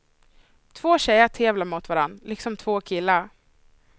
Två tjejer tävlar mot varann, liksom två killar.